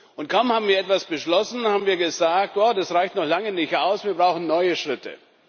Und kaum haben wir etwas beschlossen, haben wir gesagt Das reicht noch lange nicht aus, wir brauchen neue Schritte.